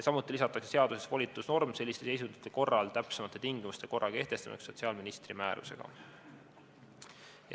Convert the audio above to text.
Samuti lisatakse seadusesse volitusnorm selliste seisundite korral täpsemate tingimuste ja korra kehtestamiseks sotsiaalministri määrusega.